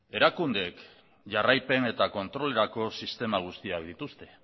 erakundeek jarraipen eta kontrolerako sistema guztiak dituzte